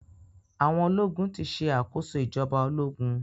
Awọn ológun ti ṣe àkóso ìjọba ológun.